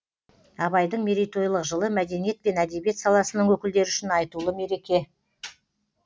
абайдың мерейтойлық жылы мәдениет пен әдебиет саласының өкілдері үшін айтулы мереке